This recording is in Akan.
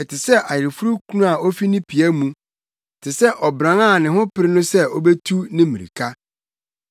Ɛte sɛ ayeforokunu a ofi ne pia mu, te sɛ ɔbran a ne ho pere no sɛ obetu ne mmirika.